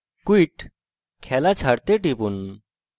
quit – খেলা ছাড়তে টিপুন